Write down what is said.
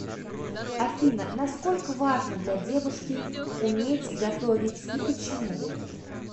афина насколько важно для девушки уметь готовить и почему